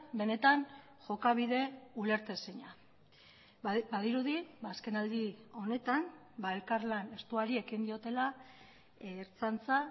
benetan jokabide ulertezina badirudi azkenaldi honetan elkarlan estuari ekin diotela ertzaintza